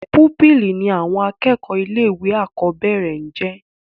púpìlì ní àwọn akẹ́kọ̀ọ́ ilé ìwé àkọ́bẹ̀rẹ̀ ńjẹ́